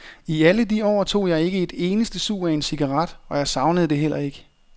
I alle de år tog jeg ikke et eneste sug af en cigaret, og jeg savnede det heller ikke.